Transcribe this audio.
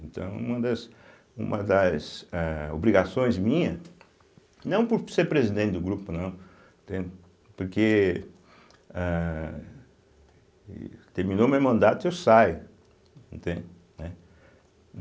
Então, uma das uma das âh obrigações minha, não por ser presidente do grupo, não, entende, porque âh terminou o meu mandato, eu saio, entende, né.